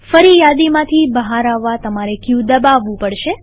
ફરીયાદીમાંથી બહાર આવવા તમારે ક દબાવવું પડશે